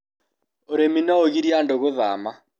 ũrĩmi no ũgirie andũ gũthama